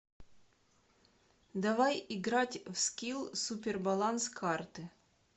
давай играть в скилл супер баланс карты